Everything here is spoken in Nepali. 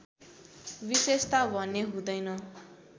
विशेषता भने हुँदैन